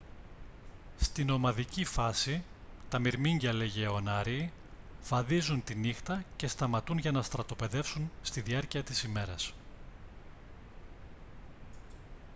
στη νομαδική φάση τα μυρμήγκια λεγεωνάριοι βαδίζουν τη νύχτα και σταματούν για να στρατοπεδεύσουν στη διάρκεια της μέρας